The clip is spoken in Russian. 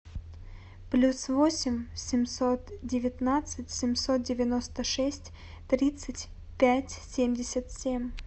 плюс восемь семьсот девятнадцать семьсот девяносто шесть тридцать пять семьдесят семь